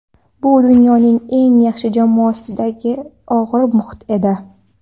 Bu dunyoning eng yaxshi jamoasidagi og‘ir muhit edi.